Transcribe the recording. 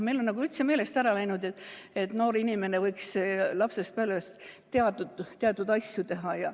Meil on üldse meelest ära läinud, et noor inimene võiks lapsest peale teatud asju teha.